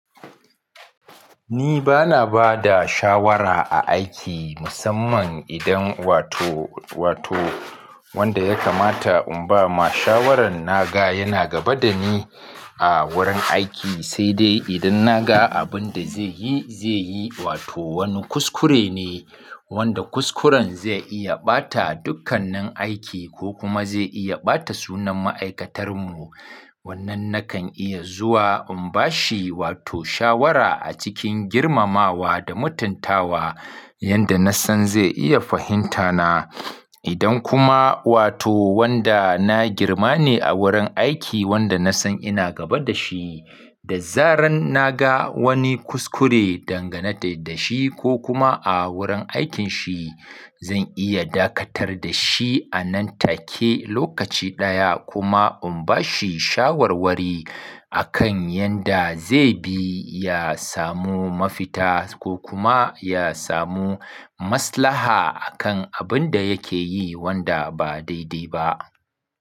Ni ba na ba da shawara a aiki musamman idan wato, wato wanda ya kamata in ba ma shawaran na ga yana gaba da ni a wurin aiki, sai dai idan na ga abin da zai yi, zai yi wato wani kuskure ne wanda kuskuren zai iya ɓata dukkannin aiki ko kuma zai iya ɓata sunan ma'aikatar mu. Wannan nakan iya zuwa in bashi wato shawara a cikin girmamawa da mutuntawa, yanda na san zai iya fahimta na. Idan kuma wato wanda na girma ne a wurin aiki wanda na san ina gaba da shi, da zaran na ga wani kuskure dangane da shi ko kuma a wurin aikinshi, zan iya dakatar da shi a nan take lokaci ɗaya kuma in bashi shawarwari a kan yanda zai bi ya samu mafita ko kuma ya samu wanda kuskuren zai iya ɓata dukkannin aiki ko kuma zai iya ɓata sunan ma'aikatar mu.